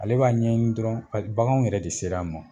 Ale b'a ɲɛ ɲini dɔrɔn bakan yɛrɛ de sera a ma.